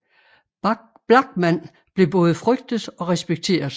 Blachman blev både frygtet og respekteret